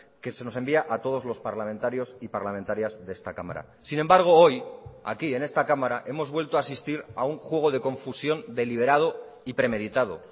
que se nos envía a todos los parlamentarios y parlamentarias de esta cámara sin embargo hoy aquí en esta cámara hemos vuelto a asistir a un juego de confusión deliberado y premeditado